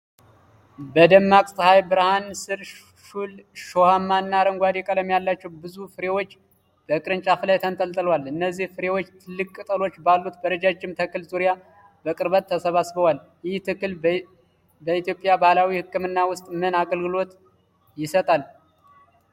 በደማቅ ፀሐይ ብርሃን ስር፣ ሹል እሾሃማ እና አረንጓዴ ቀለም ያላቸው ብዙ ፍሬዎች በቅርንጫፍ ላይ ተንጠልጥለዋል። እነዚህ ፍሬዎች ትላልቅ ቅጠሎች ባሉት በረጃጅም ተክል ዙሪያ በቅርበት ተሰባጥረዋል። ይህ ተክል በኢትዮጵያ ባህላዊ ሕክምና ውስጥ ምን አገልግሎት ይሰጣል?